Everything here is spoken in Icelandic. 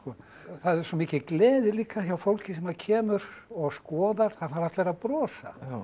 er svo mikil gleði líka hjá fólki sem kemur og skoðar það fara allir að brosa